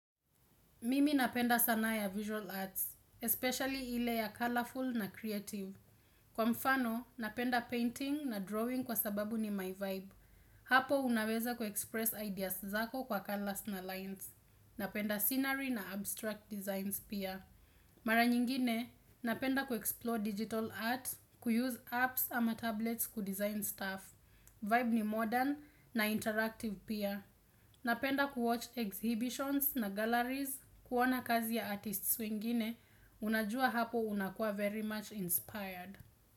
Mimi napenda sanaa ya visual arts, especially ile ya colorful na creative. Kwa mfano, napenda painting na drawing kwa sababu ni my vibe. Hapo unaweza kuexpress ideas zako kwa colors na lines. Napenda scenery na abstract designs pia. Mara nyingine, napenda kuexplore digital art, kuuse apps ama tablets kudesign stuff. Vibe ni modern na interactive pia. Napenda kuwatch exhibitions na galleries kuona kazi ya artists wengine unajua hapo unakua very much inspired.